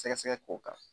Sɛgɛsɛgɛ k'o kan